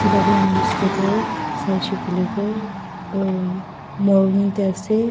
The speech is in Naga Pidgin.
etu laga image teh tu sai she koiley tu aa morung teh ase.